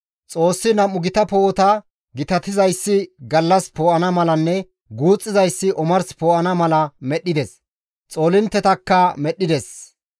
Xoossi nam7u gita poo7ota, gitatizayssi gallas poo7ana malanne guuxxizayssi omars poo7ana mala medhdhides; xoolinttetakka medhdhides.